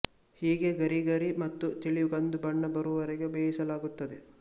ಹೀಗೆ ಗರಿಗರಿ ಮತ್ತು ತಿಳಿ ಕಂದು ಬಣ್ಣ ಬರುವವರೆಗೆ ಬೇಯಿಸಲಾಗುತ್ತದೆ